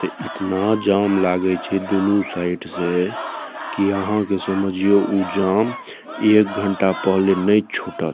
त इतना जाम लागे छे दुनू साइड से की यहाँ के समझियो उ जाम एक घंटा पहले नहीं छुटत।